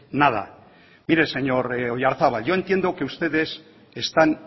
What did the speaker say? nada mire señor oyarzabal yo entiendo que ustedes están